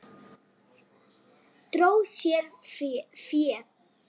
Dró sér fé